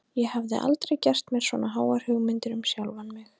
Ég hafði aldrei gert mér svona háar hugmyndir um sjálfan mig.